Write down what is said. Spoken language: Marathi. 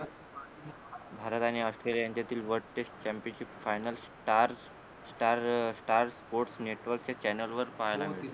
भारत आणि ऑस्ट्रेलिया यांच्यातील world test championship final star star um star sports नेटवर्कच्या चॅनेल वर पाहिला मिळतो